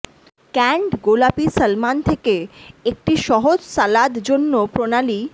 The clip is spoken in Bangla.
ক্যানড গোলাপী সালমান থেকে একটি সহজ সালাদ জন্য প্রণালী